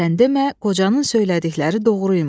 Sən demə, qocanın söylədikləri doğru imiş.